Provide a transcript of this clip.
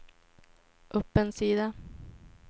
upp en sida